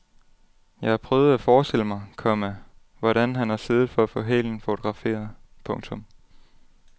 Jeg har prøvet at forestille mig, komma hvordan han har siddet for at få hælen fotograferet. punktum